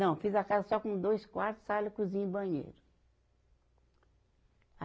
Não, fiz a casa só com dois quarto, sala, cozinha e banheiro.